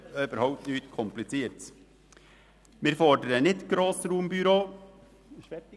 Es ist überhaupt nichts Kompliziertes, wir fordern nicht Grossraumbüros.